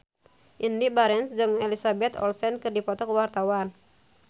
Indy Barens jeung Elizabeth Olsen keur dipoto ku wartawan